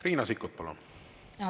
Riina Sikkut, palun!